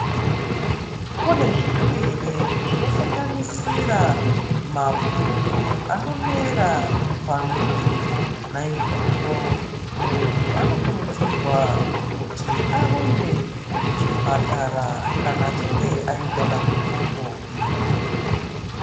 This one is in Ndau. Kune zvirwere zvinosanganisira mapundu anomera pamwiri. Naizvozvo muntu anokurudzirwa kuti arumbe kuchipatara kana achinge aita dambudziko iri.